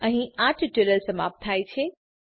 અહીં આ ટ્યુટોરીયલ સમાપ્ત થાય છે